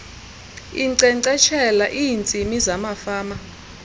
inkcenkceshela iintsimi zamafama